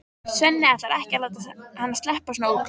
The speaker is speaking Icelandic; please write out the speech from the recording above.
Svenni ætlar ekki að láta hana sleppa svona ódýrt.